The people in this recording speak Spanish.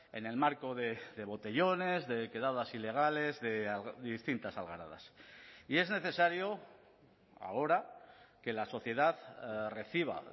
en el marco de botellones de quedadas ilegales de distintas algaradas y es necesario ahora que la sociedad reciba